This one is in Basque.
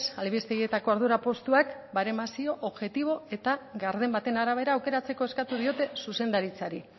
albistegietako ardura postuak baremazio objektibo eta garden baten arabera aukeratzeko eskatu diote zuzendaritzari